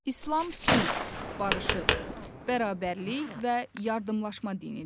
İslam sülh, barışıq, bərabərlik və yardımlaşma dinidir.